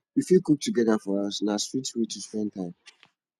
we fit cook together for house na sweet way to spend time